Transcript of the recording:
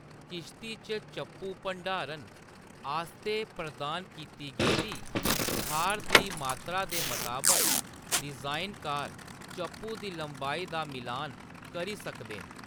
किश्ती च चप्पू भंडारण आस्तै प्रदान कीती गेदी थाह्‌‌‌र दी मात्तरा दे मताबक डिज़ाइनकार चप्पू दी लंबाई दा मिलान करी सकदे न।